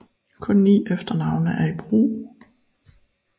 Kun ni efternavne er i brug